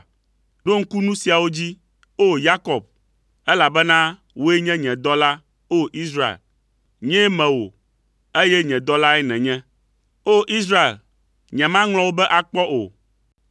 “Ɖo ŋku nu siawo dzi, O! Yakob, elabena wòe nye nye dɔla, O! Israel. Nyee me wò, eye nye dɔlae nènye. O! Israel, nyemaŋlɔ wò be akpɔ o.